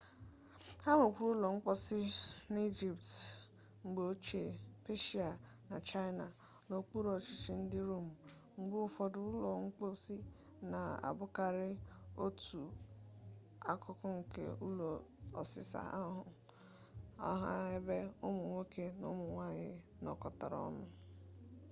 ha nwekwara ụlọ mposi n'ijipt mgbe ochie peshia na chaịna n'okpuru ọchịchị ndị rom mgbe ụfọdụ ụlọ mposi na-abụkarị otu akụkụ nke ụlọ ọsịsa ahụ ọha ebe ụmụ nwoke na ụmụ nwanyị nọkọtara ọnụ